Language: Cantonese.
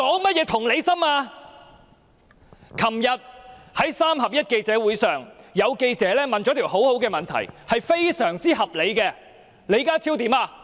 昨天在"三合一"的記者會上，有記者提出了一項很好及非常合理的問題，李家超卻恐嚇他。